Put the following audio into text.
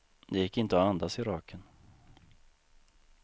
Det gick inte att andas i röken.